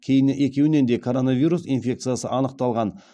кейін екеуінен де коронавирус инфекциясы анықталған